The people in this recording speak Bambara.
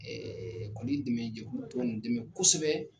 kɔni dɛmɛ jɛkulu tɔn nin dɛmɛ kosɛbɛ.